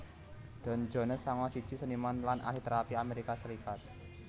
Don Jones sanga siji seniman lan ahli térapi Amerika Serikat